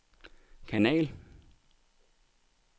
kanal